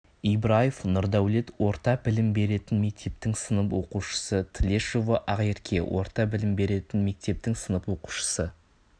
ибраев нұрдаулет орта білім беретін мектептің сынып оқушысы тлешова ақерке орта білім беретін мектептің сынып оқушысы